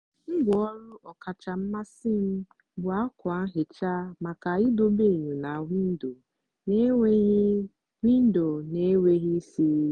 ngwá ọrụ ọkacha mmasị m bụ ákwà nhicha maka idobe enyo na windo na-enweghị windo na-enweghị isiri.